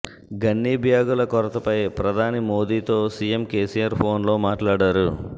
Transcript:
gunny బ్యాగుల కొరతపై ప్రధాని మోదీతో సీఎం కేసీఆర్ ఫోన్లో మాట్లాడారు